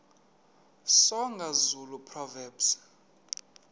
soga zulu proverbs